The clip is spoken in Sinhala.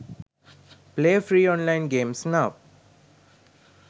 play free online games now